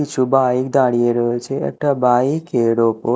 কিছু বাইক দাঁড়িয়ে রয়েছে একটা বাইক -এর ওপর--